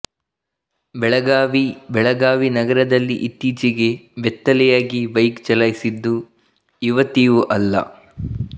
ಬೆಳಗಾವಿ ಬೆಳಗಾವಿ ನಗರದಲ್ಲಿ ಇತ್ತೀಚೆಗೆ ಬೆತ್ತಲೆಯಾಗಿ ಬೈಕ್ ಚಲಾಯಿಸಿದ್ದು ಯುವತಿಯೂ ಅಲ್ಲ